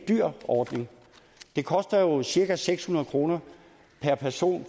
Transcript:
dyr ordning det kostede jo cirka seks hundrede kroner per person